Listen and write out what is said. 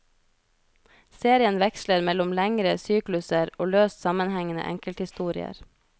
Serien veksler mellom lengre sykluser og løst sammenhengende enkelthistorier.